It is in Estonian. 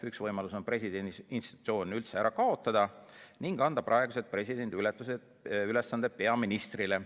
Üks võimalus on presidendi institutsioon üldse ära kaotada ning anda praeguse presidendi ülesanded peaministrile.